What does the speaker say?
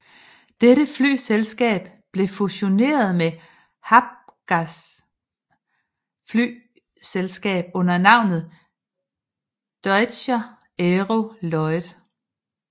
Dette flyselskab blev fusioneret med Hapags flyselskab under navnet Deutscher Aero Lloyd